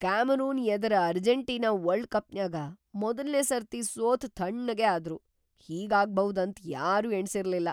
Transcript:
Cameron ಎದರ Argentina world ಕಪ್ನ್ಯಾಗ ಮೊದಲ್ನೇ ಸರ್ತಿ ಸೋತ್ ಥಣ್ಣಗೇ ಆದ್ರು..‌ ಹೀಗಾಗ್ಭೌದ್‌ ಅಂತ್ ಯಾರೂ ಎಣಸಿರ್ಲಿಲ್ಲ.